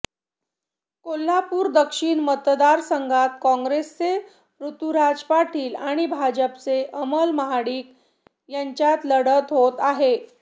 कोल्हापूर दक्षिण मतदारसंघात काँग्रेसचे ऋतुराज पाटील आणि भाजपचे अमल महाडिक यांच्यात लढत होत आहे